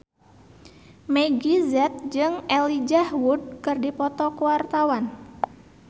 Meggie Z jeung Elijah Wood keur dipoto ku wartawan